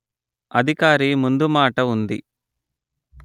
అధికారి ముందుమాట ఉంది